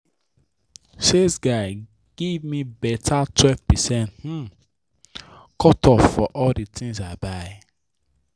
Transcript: sales guy give me better 12 percent um cut off for all the things i buy.